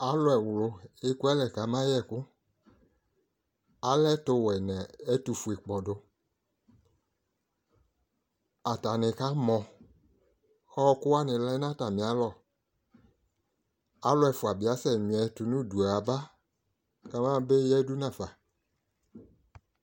Alu ɛwulu ɛku alɛ kama yɛ ɛku alɛ ɛtu wɛ nu ɛtu fue kpɔdu atani kamɔ ku ɔkuwa lɛ nu atamialɔ alu ɛfua dibi akasɛ mia atamiɛtu nu udu yaba kama eyadu nafa